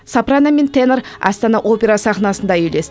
сопрано мен тенор астана опера сахнасында үйлес